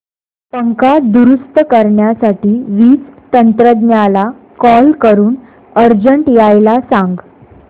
पंखा दुरुस्त करण्यासाठी वीज तंत्रज्ञला कॉल करून अर्जंट यायला सांग